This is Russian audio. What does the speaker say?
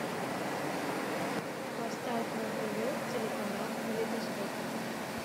поставь на тв телеканал калейдоскоп